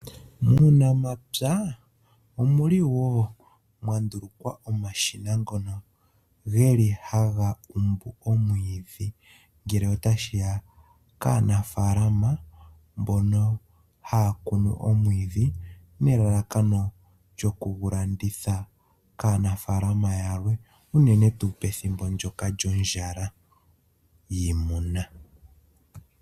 Muunamapya omuli wo mwa ndulukwa omashina ngono geli haga kumbu omwiidhi, ngele otashiya kaanafaalama mbono haya kunu omwiidhi nelalakano lyokugu landitha kaanafaalama yalwe unene tuu pethinbo ndyoka lyondjala yiimuna.